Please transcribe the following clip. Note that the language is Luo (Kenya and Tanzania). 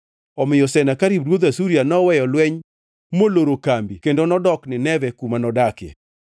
Omiyo Senakerib ruodh Asuria noweyo lweny moloro kambi kendo nodok Nineve kuma nodakie.